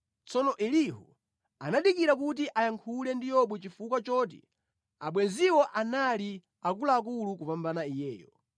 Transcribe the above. Tsono Elihu anadikira kuti ayankhule ndi Yobu chifukwa choti abwenziwo anali akuluakulu kupambana iyeyo.